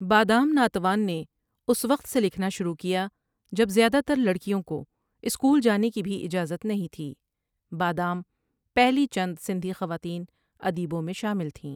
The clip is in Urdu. بادام ناتوان نے اس وقت سے لکھنا شروع کیا جب زیادہ تر لڑکیوں کو سکول جانے کی بھی اجازت نہیں تھی بادام پہلی چند سندھی خواتین ادیبوں میں شامل تھیں ۔